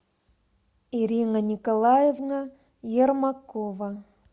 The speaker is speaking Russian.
ирина николаевна ермакова